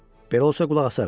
Belə olsa qulaq asaram.